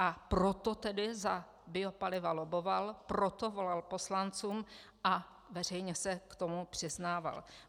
A proto tedy za biopaliva lobboval, proto volal poslancům a veřejně se k tomu přiznával.